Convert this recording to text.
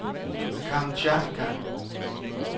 Kamchatka